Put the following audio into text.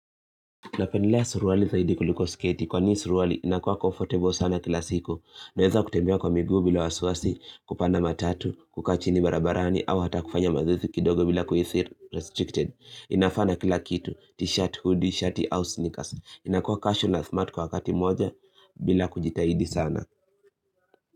Napendelea suruali zaidi kuliko sketi. Kwani suruali, inakuwa comfortable sana kila siku. Naweza kutembea kwa migu bila wasiwasi, kupanda matatu, kukaa chini barabarani, au hata kufanya mazoezi kidogo bila kuhisi restricted. Inafaa na kila kitu. T-shirt, hoodie, shirt au sneakers. Inakuwa casual na smart kwa wakati moja bila kujitahidi sana.